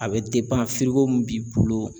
A bɛ min b'i bolo